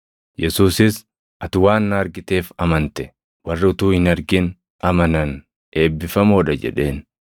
Yesuusis, “Ati waan na argiteef amante; warri utuu hin argin amanan eebbifamoo dha” jedheen.